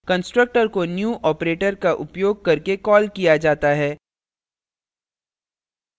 constructor को new operator का उपयोग करके कॉल किया जाता है